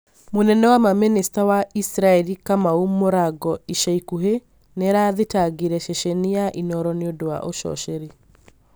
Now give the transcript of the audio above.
mũnene wa mamĩnista wa Israeli Kamau mũrango ica ikuhĩ nĩarathitangire ceceni ya inooro nĩũndũ wa ũcoceri